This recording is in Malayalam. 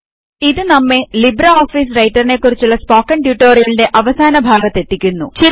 ഇത് നമ്മെ ലിബ്രെ ഓഫീസ് റൈറ്ററിനെ കുറിച്ചുള്ള സ്പോക്കണ് ട്യൂട്ടോറിയലിന്റെ അവസാന ഭാഗത്തെത്തിക്കുന്നു